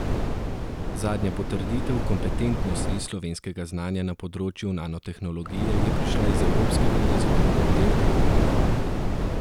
Zadnja potrditev kompetentnosti slovenskega znanja na področju nanotehnologije je prišla iz evropskega razvojnega oddelka Honde.